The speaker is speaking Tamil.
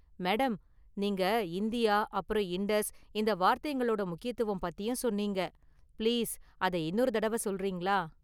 மேடம், நீங்க​ 'இந்தியா', அப்பறம் 'இண்டஸ்' இந்த வார்த்தைங்களோட முக்கியத்துவம் பத்தியும் சொன்னீங்க​, பிளீஸ் அதை இன்னொரு தடவ சொல்றீங்களா?